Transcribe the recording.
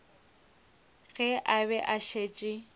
ge a be a šetše